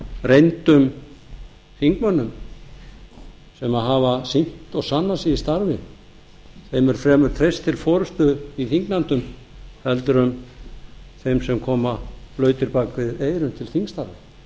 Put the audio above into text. reyndum þingmönnum sem hafa sýnt og sannað sig í starfi er fremur treyst til forustu í þingnefndum heldur en þeir sem koma blautir bak við eyrun til þingstarfa hér á landi